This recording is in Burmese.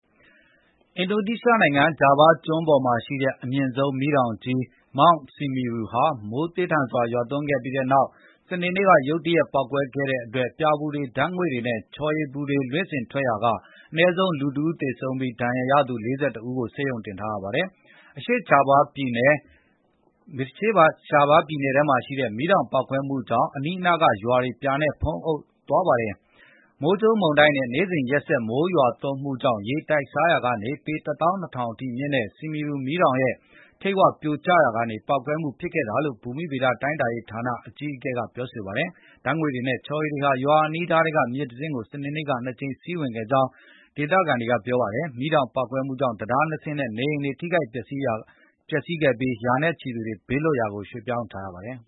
အင်ဒိုနီးရှားနိုင်ငံ ဂျာဗားကျွန်းပေါ်မှာရှိတဲ့ အမြင့်ဆုံးမီးတောင်ကြီး Mount Semeru ဟာ မိုးသည်းထန်စွာ ရွာသွန်းခဲ့ပြီးတဲ့နောက် စနေနေ့က ရုတ်တရက် ပေါက်ကွဲခဲ့တဲ့အတွက် ပြာပူတွေ၊ ဓာတ်ငွေ့တွေနဲ့ ချော်ရည်ပူတွေ လွင့်စင်ထွက်ပေါ်ရာက အနည်းဆုံး လူ ၁ ဦးသေပြီး ဒဏ်ရာရသူ ၄၁ ဦးကို ဆေးရုံတင်ထားရပါတယ်။ အရှေ့ဂျာဗားပြည်နယ်၊ Lumajang ခရိုင်က မီးတောင်ပေါက်ကွဲမှုကြောင့် အနီးအနားကရွာတွေ ပြာတွေနဲ့ ဖုံးလွှမ်းသွားပါတယ်။ မိုးကြိုးမုန်တိုင်းနဲ့ နေ့စဉ်ရက်ဆက် မိုးရွာသွန်းမှုကြောင့် ရေတိုက်စားရာကနေ ပေ ၁၂,၀၀၀ မြင့်တဲ့ Semeru မီးတောင်ရဲ့ ထိပ်ဝ ပြိုကျရာက ပေါက်ကွဲမှု ဖြစ်ခဲ့တာလို့လည်း ဘူမိဗေဒတိုင်းတာရေးဌာန အကြီးအကဲ Eko Budi Lelono က ပြောပါတယ်။ ဓာတ်ငွေ့တွေနဲ့ ချော်ရည်ပူတွေဟာ အနီးအနားရွာထဲက မြစ်အတွင်း စနေနေ့က ၂ ကြိမ် စီးဝင်ခဲ့ကြောင်းလည်း ဒေသခံတွေက ပြောပါတယ်။ မီးတောင်ပေါက်ကွဲမှုကြောင့် တံတား ၂ စင်းနဲ့ နေအိမ်တွေ ထိခိုက်ပျက်စီးခဲ့ပြီး ရာနဲ့ချီတဲ့သူတွေကို ဘေးလွတ်ရာ ရွှေ့ပြောင်းထားရပါတယ်